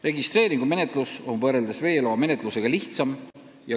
Registreeringu menetlus on lihtsam ja kiirem kui veeloa menetlus.